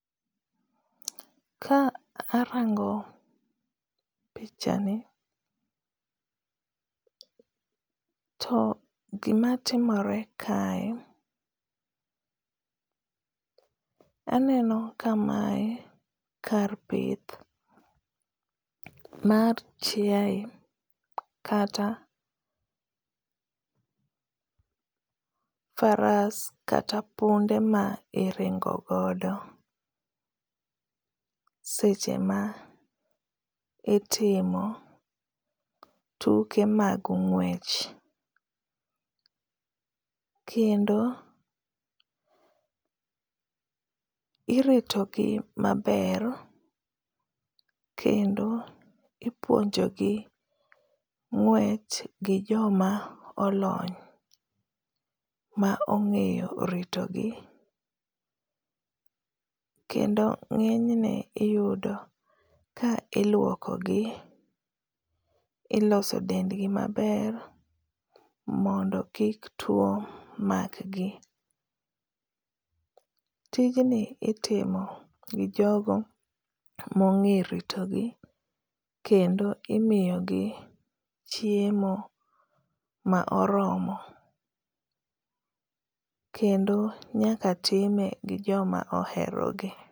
Ka arango pichani to gima timore kae, aneno ka mae kar pith mar chiae kata faras kata punde ma iringo godo seche ma itimo tuke mag ng'wech. Kendo irito gi maber. Kendo ipuonjogi ng'wech gi joma olony ma ongéyo ritogi. Kendo ngényne iyudo ka iluokogi, iloso dendgi maber, mondo kik two makgi. Tijni itimo gi jogo ma ongéyo ritogi. Kendo imiyogi chiemo ma oromo, kendo nyaka time gi joma oherogi.